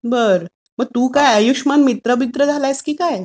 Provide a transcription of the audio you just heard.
बर.मग तू काय आयुष्यमान मित्र बित्र झालायास की काय?